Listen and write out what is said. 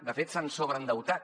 de fet s’han sobreendeutat